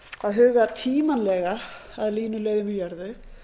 að hugað tímanlega að línuleiðum í jörðu